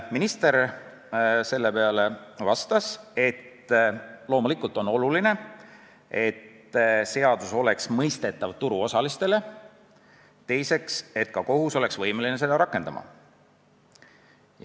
Minister vastas selle peale, et loomulikult on oluline, et seadus oleks turuosalistele mõistetav ja et ka kohus oleks võimeline seda rakendama.